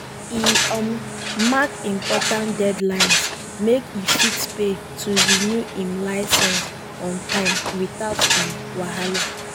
e um mark important deadlines make e fit pay to renew im licence on time without um wahala.